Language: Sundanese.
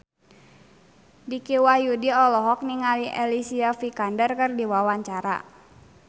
Dicky Wahyudi olohok ningali Alicia Vikander keur diwawancara